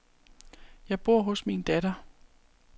Jeg bor hos min datter.